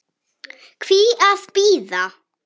Hví að bíða?